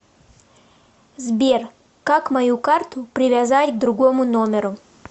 сбер как мою карту привязать к другому номеру